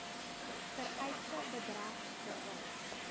vereiste bedrag betaal